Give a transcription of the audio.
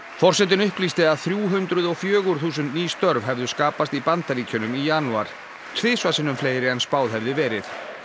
forsetinn upplýsti að þrjú hundruð og fjögur þúsund ný störf hefðu skapast í Bandaríkjunum í janúar tvisvar sinnum fleiri en spáð hefði verið